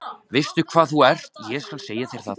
Veistu hvað þú ert, ég skal segja þér það.